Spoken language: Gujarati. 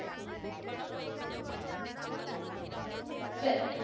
ચલો